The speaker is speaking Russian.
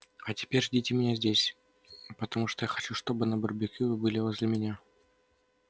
а теперь ждите меня здесь потому что я хочу чтобы на барбекю вы были возле меня